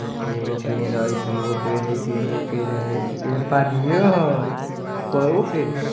एगो पेड़ हेय दुगो पेड़ हेय तीनगो पेड़ हेय पानीयो हेय कईगो पेड़ हेय ।